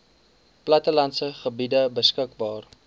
plattelandse gebiede beskikbaar